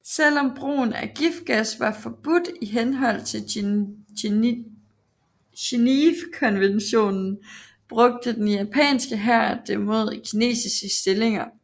Selv om brugen af giftgas var forbudt i henhold til Geneve konventionen brugte den japanske hær det mod kinesiske stillinger